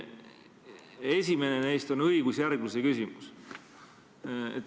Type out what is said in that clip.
Esimene neist on õigusjärgluse küsimus.